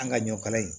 An ka ɲɔ kala in